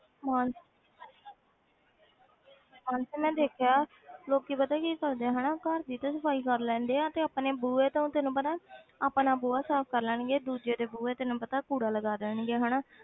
ਮਾਨ~ ਮਾਨਸੀ ਮੈਂ ਦੇਖਿਆ ਲੋਕੀ ਪਤਾ ਕੀ ਸੋਚਦੇ ਆ ਘਰ ਦੀ ਤੇ ਸਫ਼ਾਈ ਕਰ ਲੈਂਦੇ ਆ ਤੇ ਆਪਣੇ ਬੂਹੇ ਤੋਂ ਤੈਨੂੰ ਪਤਾ ਹੈ ਆਪਣਾ ਬੂਹਾ ਸਾਫ਼ ਕਰ ਲੈਣਗੇ ਦੂਜੇ ਦੇ ਬੂਹੇ ਤੈਨੂੰ ਪਤਾ ਕੂੜਾ ਲਗਾ ਦੇਣਗੇ ਹਨਾ